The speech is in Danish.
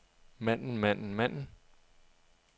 manden manden manden